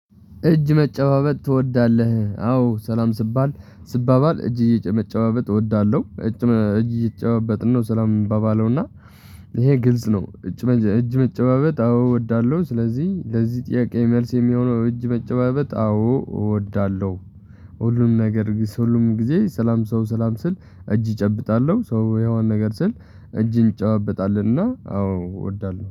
እጅ መጨባበጥ ትወዳለህ? አዎ ሰላም ስባል ስባባል እጅ እጅ መጨባበጥ እወዳለሁ። እጅ እየተጨባበጥን ነው ሰላም የምንባባለው እና ይሄ ግልጽ ነው። እጅ እጅ መጨባበጥ አዎ እወዳለሁ። ስለዚህ ለዚህ ጥያቄ መልስ የሚሆነው እጅ መጨባበጥ አዎ እወዳለሁ። ሁሉም ነገር ግን ሁሉም ጊዜ ሰላም ሰው ሰላም ስል እጅ እጨብጣለሁ ሰው የሆነ ነገር ስል እጅን እጨባበጣለሁ። እና አዎ እወዳለሁ